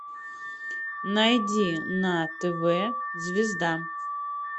найди на тв звезда